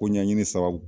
Ko ɲɛɲini sabu